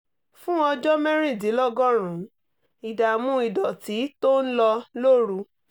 fún ọjọ́ mẹ́rìndínlọ́gọ́rùn-ún ìdààmú ìdọ̀tí tó ń lọ lóru